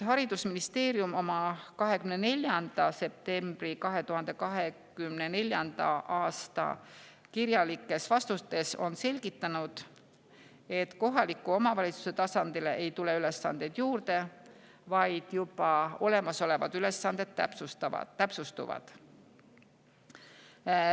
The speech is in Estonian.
Haridusministeerium oma 24. septembri 2024. aasta kirjalikus vastuses selgitas, et kohaliku omavalitsuse tasandil ei tule ülesandeid juurde, vaid juba olemasolevad ülesanded täpsustuvad.